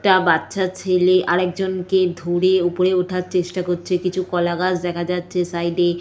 একটা বাচ্চা ছেলে আর একজন কে ধরে ওপরে ওঠার চেষ্টা করছে কিছু কলা গাছ দেখা যাচ্ছে সাইড -এ --